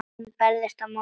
Hún berst á móti.